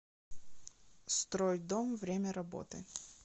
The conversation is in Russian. стройдом время работы